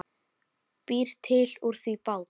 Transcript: Býr til úr því bát.